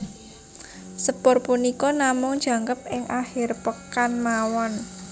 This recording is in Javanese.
Sepur punika namung jangkep ing akhir pekan mawon